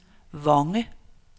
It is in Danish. Vonge